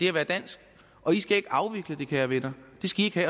at være dansk og i skal ikke afvikle det kære venner